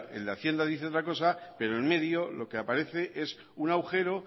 el de hacienda dice otra cosa pero en medio lo que aparece es un agujero